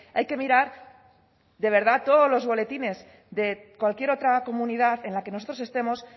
hay que mirar de verdad todos los boletines de cualquier otra comunidad en la que nosotros estemos